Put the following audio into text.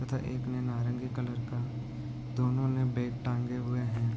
तथा एक ने नारंगी कलर का दोनो ने बैग टांगे हुए है।